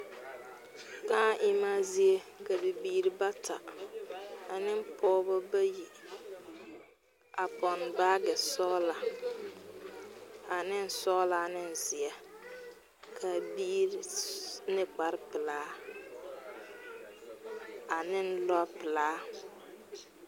Bibiiri bayopoi la a bebe ka banaare kpe be kõɔ poɔ ka bayi a do are noba bayi banaare na poɔ na be a kõɔ na kyɛ ka bombile kaŋa meŋ a do zeŋ a bayi na kaŋ kɔkɔrɛŋ.